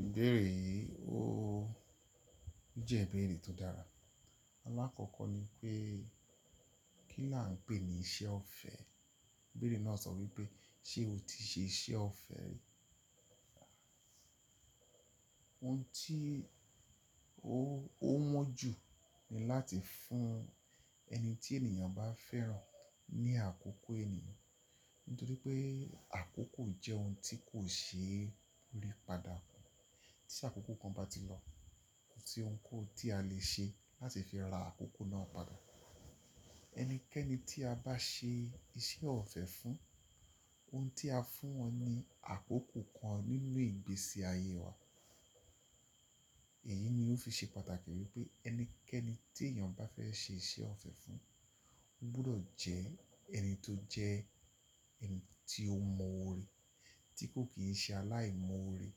Ìbéèrè yìí ó jẹ́ ìbéèrè tó dára. Alákọ̀ọ́kọ́ ni pé kí là ń pè ní iṣẹ́ ọ̀fẹ́? Ìbéèrè náà sọ wípé ṣe o ti ṣe iṣẹ́ ọ̀fẹ́ rí? Ohun tí ó wọ́n jù ni láti fún ẹni tí ènìyàn bá fẹ́ràn ní àkókò ènìyàn. Nítorí pé àkókò jẹ́ ohun tí kò ṣe é rí padà. Tí àkókò kan bá ti lọ, kò sí ohun kan tí a lè ṣe láti fi ra àkókò náà padà. Ẹnikẹ́ni tí a bá ṣe iṣẹ́ ọ̀fẹ́ fún, ohun tí a fún wọn ni àkókò kan nínú ìgbésí ayé wa. Èyí ni ó fi ṣe pàtàkì wípé ẹnikẹ́ni tí èèyàn bá fẹ́ ṣe iṣẹ́ ọ̀fẹ́ fún, ó gbọdọ̀ jẹ́ ẹni tó jẹ́ ẹni tí ó mọ́ oore, tí kò kì í ṣe aláìmọ́ oore.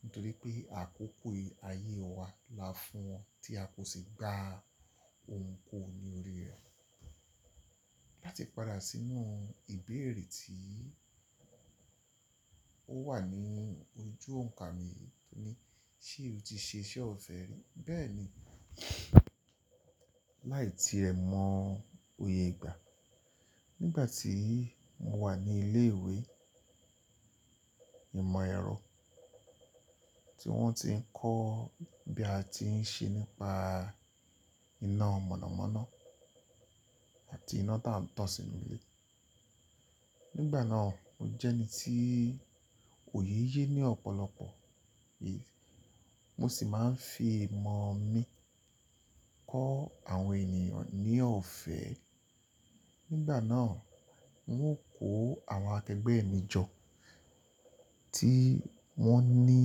Nítorí pé àkókò ayé wa la fún wọn tí a kò ṣe gba ohun kan ní orí rẹ̀. Láti padà sínú ìbéèrè tí ó wà ní ojú òǹkà mi, tó ní ṣe o ti ṣe iṣẹ́ ọ̀fẹ́ rí? Bẹ́ẹ̀ni, láì tí ẹ mọ oyè gbà. Nígbà tí mo wà ní ilé ìwé ìmọ̀ ẹ̀rọ tí wọ́n ti ń kọ́ bí a ti ń ṣe nípa iná mọ̀nàmọ́ná àti iná tá ń tàn sínú ilé. Nígbà náà mo jẹ́ ẹni tí òye ye ní ọ̀pọ̀lọpọ̀ èyí, mo sì máa ń fi ìmọ̀ mi kọ́ àwọn ènìyàn ní ọ̀fẹ́. Nígbà náà, wọn ó kó àwọn akẹgbẹ́ mi jọ tí wọ́n ní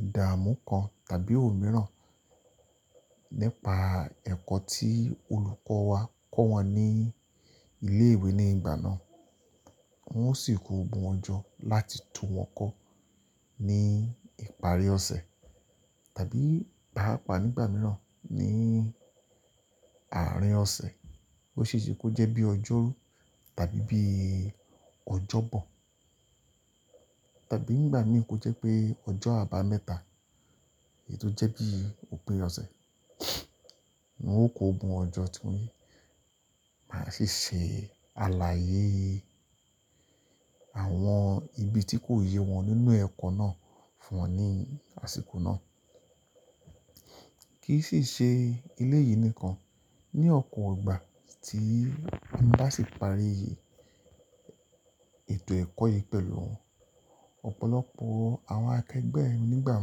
ìdámú kan tàbí ò mìíràn nípa ẹ̀kọ́ tí olùkọ́ wa kọ́ wọn ní ilé ìwé nígbà náà. Wọn ó sì kó won jọ́ láti tún wọn kọ́ ní ìparí ọ̀sẹ̀ tàbí pápa nígbà mìíràn ní àárín ọ̀sẹ̀. Ó ṣe é ṣe kó jẹ́ bí ọjọ́rú tàbí bí ọjọ́bọ̀ tàbí nígbà mìíràn kó jẹ́ pé ọjọ́ àbámẹ́ta, èyí tó jẹ́ bí òpin ọ̀sẹ̀. Wọn ó kó won jọ́ tí mo ní máa sì ṣe aláyé àwọn ibi tí kò yé wọn nínú ẹ̀kọ́ náà fún wọn ní àsìkò náà. Kì í sì ṣe eléyìí nìkan, ní ọ̀pọ̀ ìgbà tí n bá ṣi parí ètò ẹ̀kọ́ yìí pẹ̀lú wọn, ọ̀pọ̀lọpọ̀ àwọn akẹgbẹ́ mi nígbà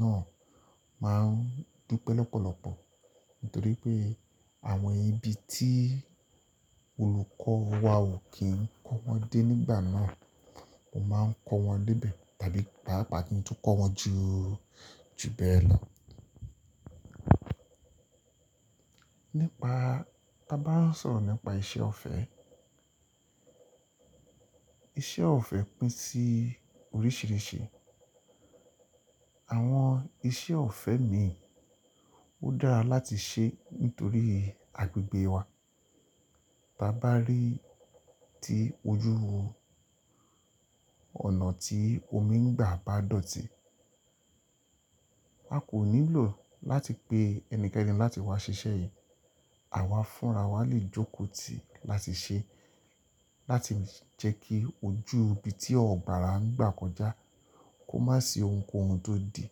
náà máa ń dúpẹ́ lọ́pọ̀lọpọ̀ nítorí pé àwọn ibi tí olùkọ́ wa ò kí ń kọ́ wọn dé nígbà náà, mo máa ń kọ́ wọn dé ibẹ̀ tàbí bápa kí n tó kọ́ wọn ju bẹ́ẹ̀ lọ. Nípa, bá bá ń sọ̀rọ̀ nípa iṣẹ́ ọ̀fẹ́, iṣẹ́ ọ̀fẹ́ pín sí oríṣìíríṣìí. Àwọn iṣẹ́ ọ̀fẹ́ mìí ó dára láti ṣe nítorí agbègbè wa. Bá bá rí tí ojú ọ̀nà tí omi ń gbà bá dọ̀tí, wà kò nílò láti pe ẹnikẹ́ni láti wá ṣiṣẹ́ yìí. Àwa fúnra wa lè jókòó tì láti ṣe, láti jẹ́ kí ojú ibi tí ọ̀gbàrà ń gbà kọjá kó má ṣe ohunkóhun tó di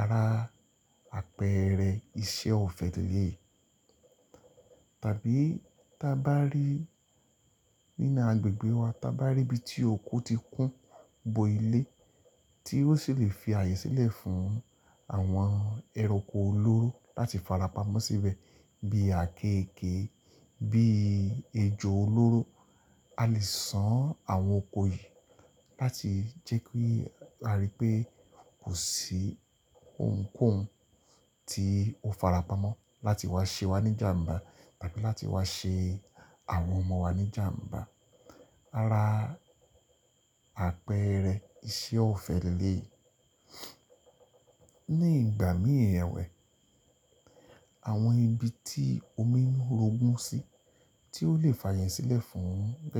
ara àpẹẹrẹ iṣẹ́ ọ̀fẹ́ lelèyi tàbí bá bá rí nínú agbègbè wa, bá bá rí ibi tí òko ti kún bo ilé tí ó sì lè fi ààyè sílẹ̀ fún àwọn ẹranko olóró láti farapa mọ́ síbẹ̀ bíi àkééke, bíi ejò olóró. A lè san àwọn oko yìí láti jẹ́ kí a rí pé kò sí ohunkóhun tí ó farapa mọ́ láti wá ṣe wá níjàǹbá tàbí láti wá ṣe àwọn ọmọ wa níjàǹbá. Ara àpẹẹrẹ iṣẹ́ ọ̀fẹ́ lelèyi ní ìgbà mìíràn ewẹ̀, àwọn ibi tí omi ń rogun sí tí ó lè fààyè sílẹ̀ fún rẹ̀